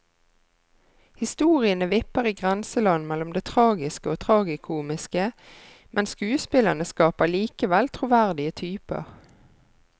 Historiene vipper i grenseland mellom det tragiske og tragikomiske, men skuespillerne skaper likevel troverdige typer.